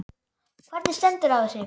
Hvernig stendur á þessu?